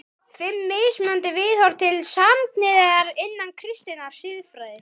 FIMM MISMUNANDI VIÐHORF TIL SAMKYNHNEIGÐAR INNAN KRISTINNAR SIÐFRÆÐI